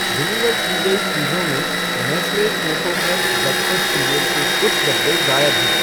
Deliver की गई चीज़ों में Nestle Koko Krunch breakfast cereal के कुछ डब्बे गायब हैं।